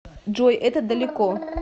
джой это далеко